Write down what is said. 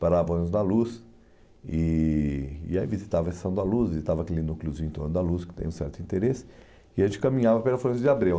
parava o ônibus da Luz e e aí visitava a Estação da Luz, visitava aquele núcleozinho em torno da Luz, que tem um certo interesse, e a gente caminhava pela Florêncio de Abreu.